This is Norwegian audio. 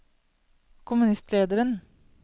kommunistlederen